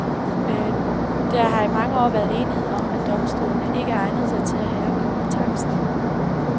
Der har i mange år været enighed om, at domstolene ikke egnede sig til at have kompetencen.